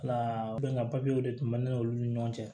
de tun bɛ ne n'olu ni ɲɔgɔn cɛ